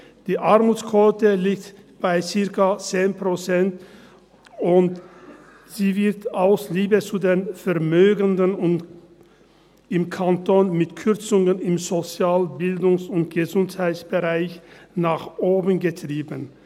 Die Armutsquote liegt bei circa 10 Prozent, und sie wird aus Liebe zu den Vermögenden im Kanton mit Kürzungen im Sozial-, Bildungs- und Gesundheitsbereich nach oben getrieben.